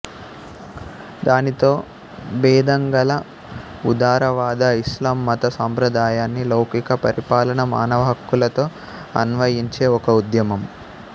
దానితో భేదంగల ఉదారవాద ఇస్లాం మత సాంప్రదాయాన్ని లౌకిక పరిపాలన మానవ హక్కులతో అన్వయించే ఒక ఉద్యమం